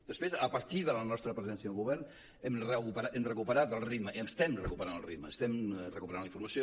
després a partir de la nostra presència al govern hem recuperat el ritme estem recuperant el ritme estem recuperant la informació